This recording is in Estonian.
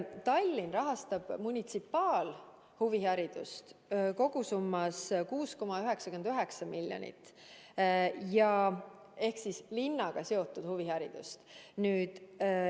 Tallinn rahastab munitsipaalhuviharidust kokku 6,99 miljoni euroga – tegemist on linnaga seotud huviharidusega.